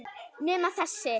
Nema þessi.